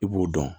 I b'o dɔn